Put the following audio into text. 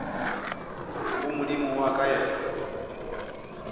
go modimo wa ka yena